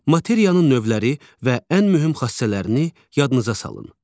Materiyanın növləri və ən mühüm xassələrini yadınıza salın.